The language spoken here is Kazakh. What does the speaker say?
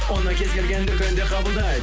оны кез келген дүкенде қабылдайды